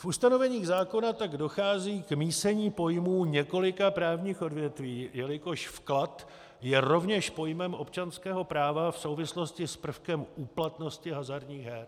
V ustanoveních zákona tak dochází k mísení pojmů několika právních odvětví, jelikož vklad je rovněž pojmem občanského práva v souvislosti s prvkem úplatnosti hazardních her.